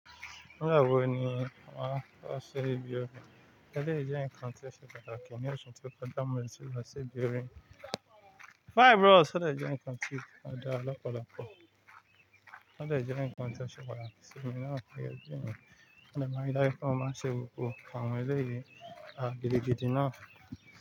Mo maa n ri daju pe mo maa ṣe gbogbo awọn eléyìí gidigidi naa.